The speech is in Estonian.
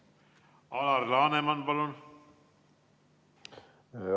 Alar Laneman, palun!